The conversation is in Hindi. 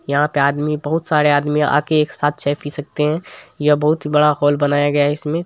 यहां पे आदमी बहुत सारे आदमी आके एक साथ चाय पी सकते है यह बहुत ही बड़ा हॉल बनाया गया है इसमें ---